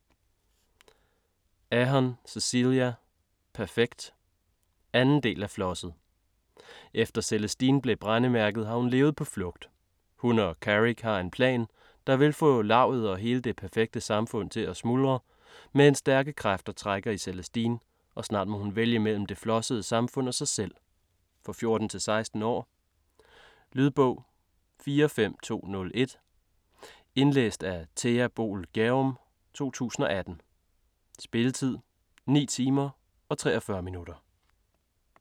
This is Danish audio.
Ahern, Cecelia: Perfekt 2. del af Flosset. Efter Celestine blev brændemærket har hun levet på flugt. Hun og Carrick har en plan, der vil få Lavet og hele det perfekte samfund til at smuldre, men stærke kræfter trækker i Celestine og snart må hun vælge mellem det flossede samfund og sig selv. For 14-16 år. Lydbog 45201 Indlæst af Thea Boel Gjerum, 2018. Spilletid: 9 timer, 43 minutter.